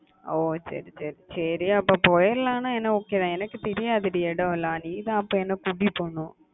ஓஹ் சரி சரி சரி அப்போ போயிரலாம் எனக்கு okay தான் எனக்கு தெரியாது டி இடம் எல்லாம் நீ தான் அப்போ என்ன கூட்டிட்டு போகணும்